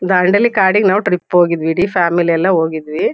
ದಾಂಡೇಲಿ ಕಾಡಿಗ್ ನಾವ್ ಟ್ರಿಪ್ ಹೋಗಿದ್ವಿ ಇಡೀ ಫ್ಯಾಮಿಲಿ ಎಲ್ಲಾ ಹೋಗಿದ್ವಿ.